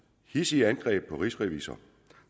hidsige angreb på rigsrevisor